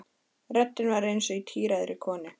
Röddin var eins og í tíræðri konu.